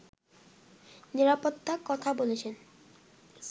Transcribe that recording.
নিরাপত্তার কথা বলেছে